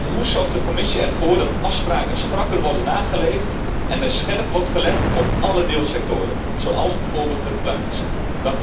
En hoe zorgt de Commissie ervoor dat afspraken strakker worden nageleefd en er scherp wordt gelet op alle deelsectoren, zoals bijvoorbeeld de pluimveesector?